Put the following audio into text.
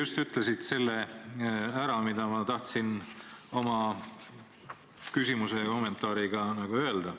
Sa ütlesid just ära selle, mida ma tahtsin oma küsimuse ja kommentaariga öelda.